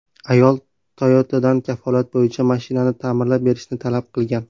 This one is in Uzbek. Ayol Toyota’dan kafolat bo‘yicha mashinani ta’mirlab berishni talab qilgan.